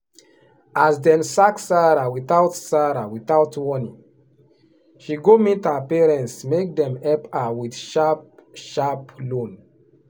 as dem sack sarah without sarah without warning she go meet her parents make dem help her with sharp-sharp loan.